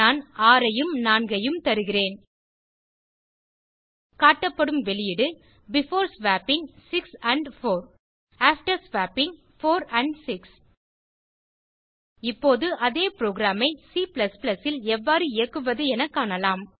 நான் 6 ஐயும் 4 ஐயும் தருகிறேன் காட்டப்படும் வெளியீடு before swapping 6 and 4 after swapping 4 and 6 இப்போது அதே புரோகிராம் ஐ C ல் எவ்வாறு இயக்குவது என காணலாம்